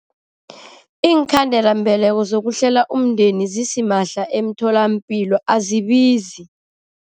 Iinkhandelambeleko zokuhlela umndeni zisimahla emtholampilo, azibizi.